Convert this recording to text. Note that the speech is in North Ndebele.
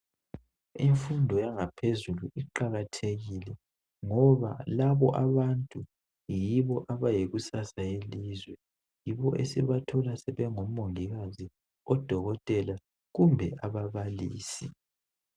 Imfundo yangaphezulu iqakathekile ngoba labo abantu yibo abayikusasa yelizwe. Yibo esibathola sebongomongikazi, odokotela kumbe ababalisi.